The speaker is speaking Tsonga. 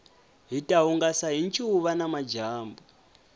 hita hungasa hi ncuva namadyambu